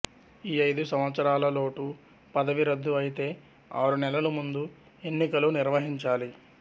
ఈ ఐదు సంవత్సరాల లోటు పదవి రద్దు అయితే ఆరు నెలలు ముందు ఎన్నికలు నిర్వహించాలి